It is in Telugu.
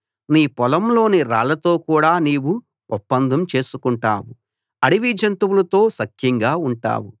నీ పొలంలోని రాళ్ళతో కూడా నీవు ఒప్పందం చేసుకుంటావు అడవి జంతువులతో సఖ్యంగా ఉంటావు